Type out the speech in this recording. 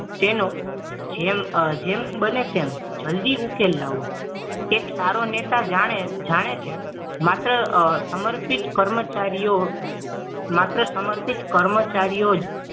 તેનોજેમ જેમ બને તેમ જલ્દી ઉકેલ લાવો એક સારો નેતા જાણે જાણે છે માત્ર સમર્પિત કર્મચારીઓ માત્ર સમર્પિત કર્મચારીઓ જ